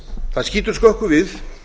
það skýtur skökku við